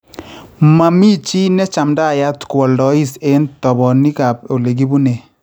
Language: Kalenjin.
Mami chi nechamdaiyat koaldais eng toponikap ole kipune